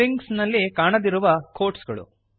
strings ನಲ್ಲಿ ಕಾಣದಿರುವ quotesಗಳು